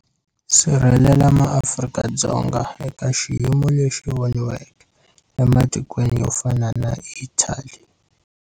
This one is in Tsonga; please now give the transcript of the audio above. Sirhelela maAfrika-Dzonga eka xiyimo lexi xi voniweke ematikweni yo fana na Italy.